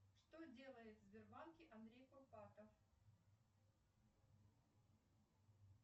что делает в сбербанке андрей курпатов